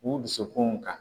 K'u dusukunw ka